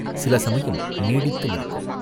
சில சமயம் நீடித்து நிற்கும்.